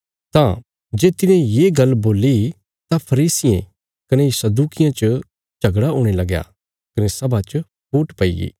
तां जे तिने ये गल्ल बोल्ली तां फरीसियें कने सदूकियां च झगड़ा हुणे लगया कने सभा च फूट पईगी